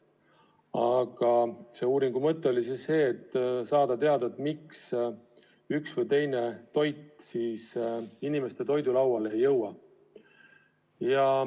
Aga uuringu mõte oli saada teada, miks üks või teine toit inimeste lauale ei jõua.